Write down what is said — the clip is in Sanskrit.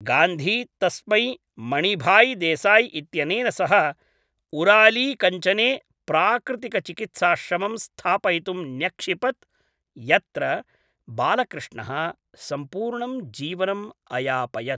गान्धी तस्मै मणिभाईदेसाई इत्यनेन सह उरालीकञ्चने प्राकृतिकचिकित्साश्रमं स्थापयितुं न्यक्षिपत् यत्र बालकृष्णः सम्पूर्णं जीवनम् अयापयत्।